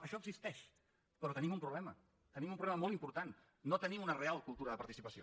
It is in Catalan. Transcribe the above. això existeix però tenim un problema tenim un problema molt important no tenim una real cultura de participació